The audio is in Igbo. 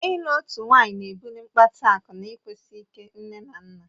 Ịlụ otu nwaanyị ná-ebuli ịkpata akụ na ịkwụsi ike nne na nna